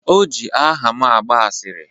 O ji aha m agba asịrị